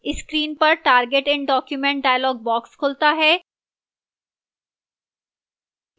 screen पर target in document dialog box खुलता है